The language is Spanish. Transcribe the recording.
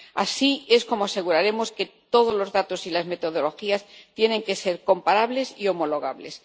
Así es como aseguraremos que todos los datos y las metodologías sean comparables y homologables.